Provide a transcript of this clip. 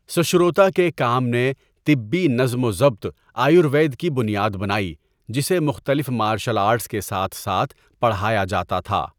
سشروتا کے کام نے طبی نظم و ضبط آیوروید کی بنیاد بنائی جسے مختلف مارشل آرٹس کے ساتھ ساتھ پڑھایا جاتا تھا۔